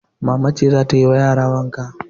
Mama ce za ta yi ma yara wanka.